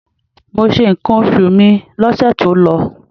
Mo se ǹkan oṣù mi lóṣù tó lọ.